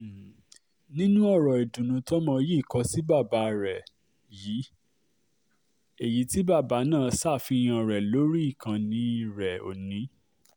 um nínú ọ̀rọ̀ ìdùnnú tọmọ yìí kò sí bàbá um rẹ̀ èyí tí bàbá náà ṣàfihàn rẹ̀ lórí ìkànnì rẹ̀ ò ní